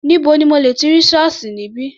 Níbo ni mo ti lẹ̀ rí ṣọ́ọ̀ṣì níbí?